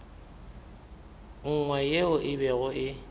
nngwe yeo e bego e